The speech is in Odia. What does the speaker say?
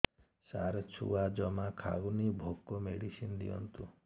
ସାର ଛୁଆ ଜମା ଖାଉନି ଭୋକ ମେଡିସିନ ଦିଅନ୍ତୁ